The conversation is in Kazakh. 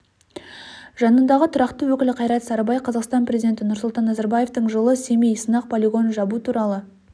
жанындағы тұрақты өкілі қайрат сарыбай қазақстан президенті нұрсұлтан назарбаевтың жылы семей сынақ полигонын жабу туралы